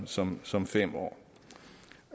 som som fem år